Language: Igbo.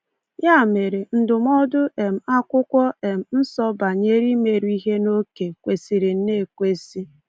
Ya mere, ndụmọdụ um Akwụkwọ um Nsọ banyere “ịmeru ihe n’oke” kwesịrị nnọọ ekwesị.